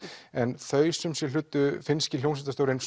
en þau hlaut finnski hljómsveitarstjórinn